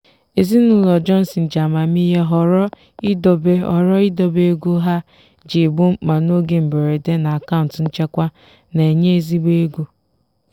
ezinụlọ johnson ji amamihe họrọ idobe họrọ idobe ego ha ji egbo mkpa n'oge mberede na akaụntụ nchekwa na-enye ezigbo ego.